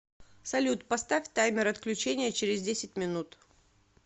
салют поставь таймер отключения через десять минут